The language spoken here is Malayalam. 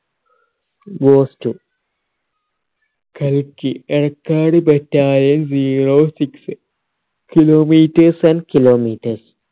ഗോസ്റ്റു കൽക്കി Edakkad battalion zero six kilometers and kilometers